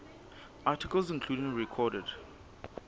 articles including recorded